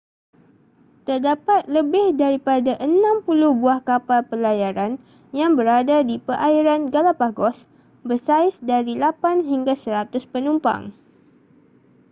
terdapat lebih daripada 60 buah kapal pelayaran yang berada di perairan galapagos bersaiz dari 8 hingga 100 penumpang